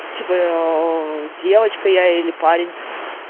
типа я девочка я или парень